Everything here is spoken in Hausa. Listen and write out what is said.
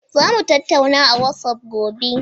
Za mu tattauna a WhatsApp gobe.